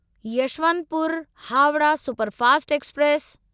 Yesvantpur Howrah superfast express